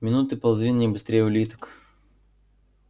минуты ползли не быстрее улиток